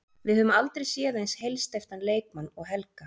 Við höfum aldrei séð eins heilsteyptan leikmann og Helga.